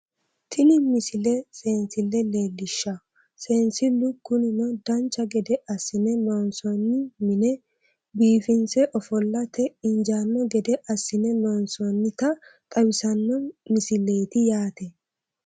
Tini misile seensille leellishshawo seensillu kunino dancha gede assine loonsoonni mine biifinse ofollate injaanno gede assine loonsoonnita xawissanno misileeti yaate